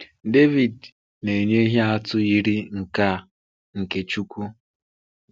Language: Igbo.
David na-enye ihe atụ yiri nke a nke Chúkwú.